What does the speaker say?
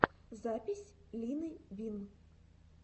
запись лины вин